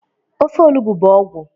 Ofe olubo bụ ọgwụ